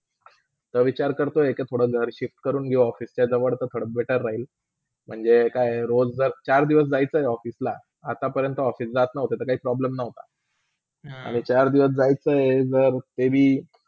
विचार करतोय के थोडा घर shift कडून घेऊ office च्या जवळते better राहिला म्हणजे काय रोज जर चार दिवस जायचा office ला आतापर्यंता office जात नव्हते तर काही problem नव्हता आणि चार दिवस जायचा आहे तरी